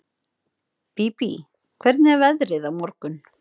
Bíbí, hvernig er veðrið á morgun?